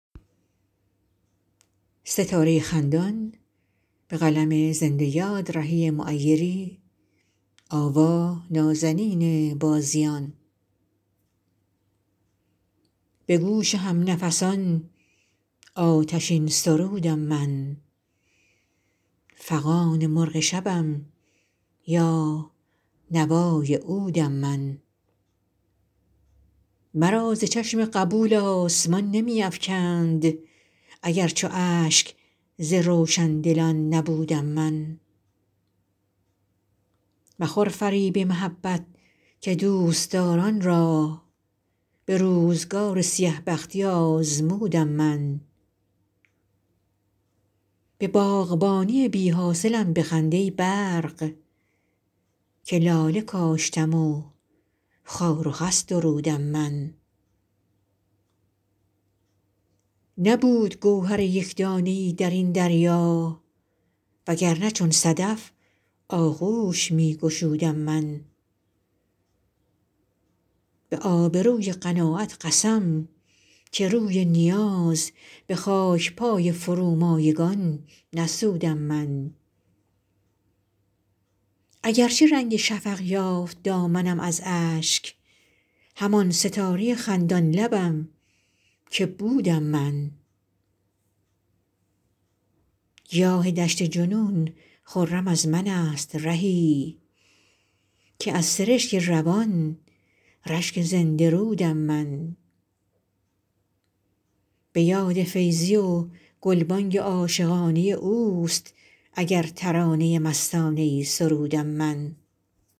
به گوش هم نفسان آتشین سرودم من فغان مرغ شبم یا نوای عودم من مرا ز چشم قبول آسمان نمی افکند اگر چو اشک ز روشندلان نبودم من مخور فریب محبت که دوستداران را به روزگار سیه بختی آزمودم من به باغبانی بی حاصلم بخند ای برق که لاله کاشتم و خار و خس درودم من نبود گوهر یک دانه ای در این دریا وگرنه چون صدف آغوش می گشودم من به آبروی قناعت قسم که روی نیاز به خاکپای فرومایگان نسودم من اگرچه رنگ شفق یافت دامنم از اشک همان ستاره خندان لبم که بودم من گیاه دشت جنون خرم از من است رهی که از سرشک روان رشک زنده رودم من به یاد فیضی و گلبانگ عاشقانه اوست اگر ترانه مستانه ای سرودم من